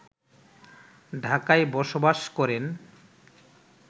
ঢাকায় বসবাস করেন